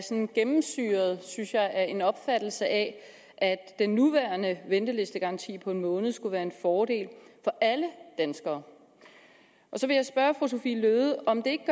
gennemsyret synes jeg af en opfattelse af at den nuværende ventelistegaranti på en måned skulle være en fordel for alle danskere så vil jeg spørge fru sophie løhde om det